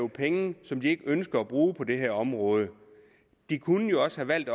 penge som de ikke ønsker at bruge på det her område de kunne jo også have valgt